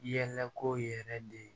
Yɛlɛko yɛrɛ de